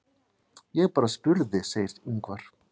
Ég bara spurði segir Ingvar.